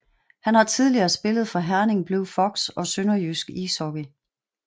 Han har tidligere spillet for Herning Blue Fox og SønderjyskE Ishockey